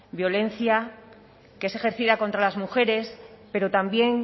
violencia que es ejercida contra las mujeres pero también